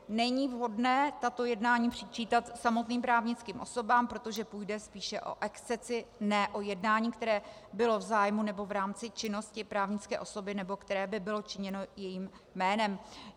Není vhodné tato jednání přičítat samotným právnickým osobám, protože půjde spíše o excesy, ne o jednání, které bylo v zájmu nebo v rámci činnosti právnické osoby nebo které by bylo činěno jejím jménem.